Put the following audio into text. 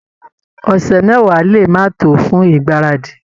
Ọ̀sẹ̀ mẹ́wàá lè máa tó fún ìgbáradì